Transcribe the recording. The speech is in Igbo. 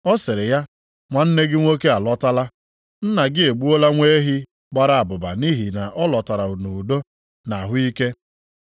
Ọ sịrị ya, ‘Nwanne gị nwoke alọtala. Nna gị egbuola nwa ehi gbara abụba nʼihi na ọ lọtara nʼudo na ahụ ike.’